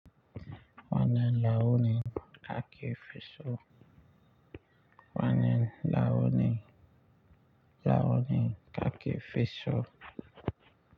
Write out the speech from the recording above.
Wanan launi kaki fiso. Wanan launi, launi kaki fiso.